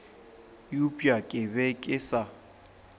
eupša ke be ke sa